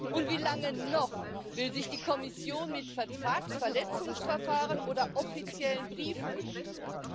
Und wie lange noch will sich die Kommission mit Vertragsverletzungsverfahren oder offiziellen Briefen begnügen?